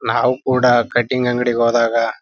ನಾವು ಕೂಡ ಕಟ್ಟಿಂಗ್ ಅಂಗ್ಡಿಗ್ ಹೋದಾಗ.